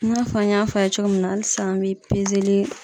I n'a fɔ an y'a fɔ a' ye cogo min na hali sisan an bɛ pezeli